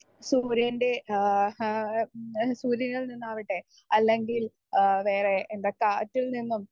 speaker 1 സൂര്യൻ്റെ ഏഹ് ആ ഏഹ് സൂര്യനിൽ നിന്നാവട്ടെ ഏഹ് വേറെ എന്താ കാറ്റിൽ നിന്നും